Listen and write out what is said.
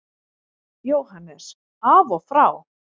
JÓHANNES: Af og frá!